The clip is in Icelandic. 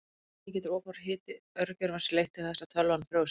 Einnig getur of hár hiti örgjörvans leitt til þess að tölvan frjósi.